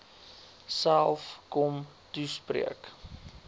self kom toespreek